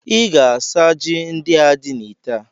Ị ga-asa ji ndị a dị n'itè a!